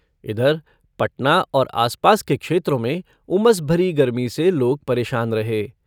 इधर, पटना और आसपास के क्षेत्रों में उमस भरी गर्मी से लोग परेशान रहे।